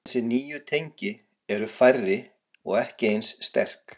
Þessi nýju tengi eru færri og ekki eins sterk.